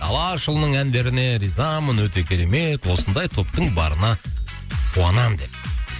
алашұлының әндеріне ризамын өте керемет осындай топтың барына қуанамын деп